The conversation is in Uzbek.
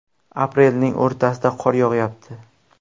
Aprelning o‘rtasida qor yog‘yapti.